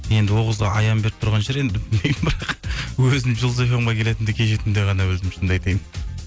енді ол қызға аян беріп тұрған шығар енді өзім жұлдыз фм ге келетінімді кеше түнде ғана білдім шынымды айтайын